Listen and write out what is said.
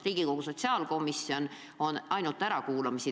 Riigikogu sotsiaalkomisjon on teinud ainult ärakuulamisi.